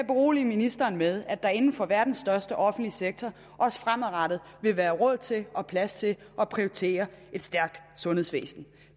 berolige ministeren med at der inden for verdens største offentlige sektor også fremadrettet vil være råd til og plads til at prioritere et stærkt sundhedsvæsen